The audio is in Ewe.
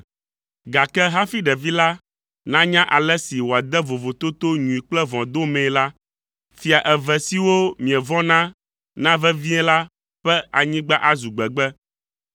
gake hafi ɖevi la nanya ale si wòade vovototo nyui kple vɔ̃ domee la, fia eve siwo mievɔ̃na na vevie la ƒe anyigba azu gbegbe.